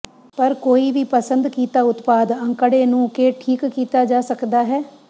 ਪਰ ਕੋਈ ਵੀ ਪਸੰਦ ਕੀਤਾ ਉਤਪਾਦ ਅੰਕੜੇ ਨੂੰ ਕੇ ਠੀਕ ਕੀਤਾ ਜਾ ਸਕਦਾ ਹੈ